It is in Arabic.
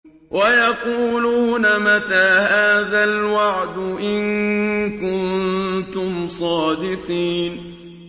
وَيَقُولُونَ مَتَىٰ هَٰذَا الْوَعْدُ إِن كُنتُمْ صَادِقِينَ